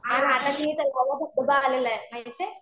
आणि आता ते तलाव ला धबधबा आलेला आहे माहिती ये?